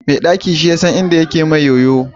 Mai ɗaki shi yasan inda yake mai yoyo